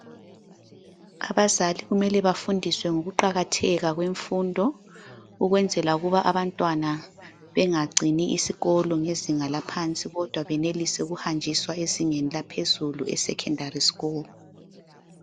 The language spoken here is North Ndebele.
Abazali kumele bafundiswe ngokuqakatheka kwemfundo ukwenzela ukuba abantwana bengacini isikolo ngezinga laphansi kodwa benelise ukuhanjiswa ezingeni laphezulu e- Secondary school.